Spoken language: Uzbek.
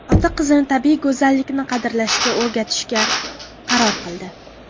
Ota qizini tabiiy go‘zallikni qadrlashga o‘rgatishga qaror qildi .